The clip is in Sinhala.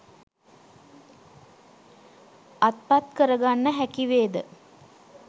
අත්පත් කරගන්න හැකිවේද?